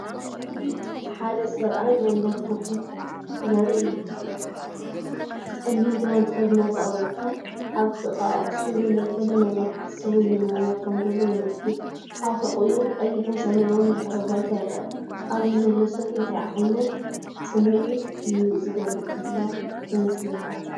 እዚ ሓደ ሰብኣይ መንበር ኮፍ ኢሉ ዘርኢ እዩ። ጸሊም ክዳን ተኸዲኑ ኣጻብዕቱ ኣብ ጥቓኣፉ ስለዘሎ፡ገለ ነገር ይሓስብ ወይ ይምርምር ከምዘሎ የመልክት። ኣብ ሕቖኡ ቀይሕን ሰማያውን ድሕረ ባይታ ይርአ። ኣብዚ ዘሎ ሰብ እንታይ ዓይነት ስምዒት እዩ ዝገልጽ ዘሎ ይመስለካ?